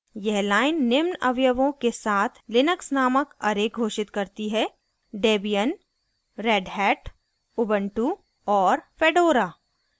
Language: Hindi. यह line निम्न अवयवों के साथ लिनक्स named array घोषित करती है